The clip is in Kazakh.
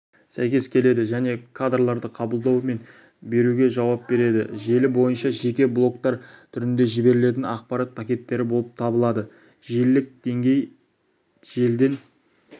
сәйкес келеді және кадрларды қабылдау мен беруге жауап береді желі бойынша жеке блоктар түрінде жіберілетін ақпарат пакеттері болып табылады желілік деңгей желіден